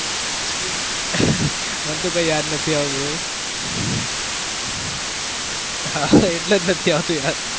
મને તો કોઈ યાદ જ નથી આવતું એવું. હાં એટલે જ નથી આવતું યાદ.